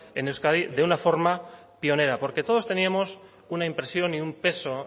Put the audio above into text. en euskadi de una forma pionera porque todos teníamos una impresión y un peso